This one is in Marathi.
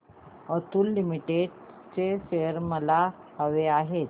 अतुल लिमिटेड चे शेअर्स मला हवे आहेत